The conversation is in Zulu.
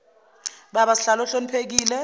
baba sihlalo ohloniphekile